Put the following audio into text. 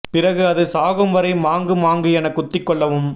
பிறகு அது சாகும் வரை மாங்கு மாங்கு என குத்தி கொல்லவும்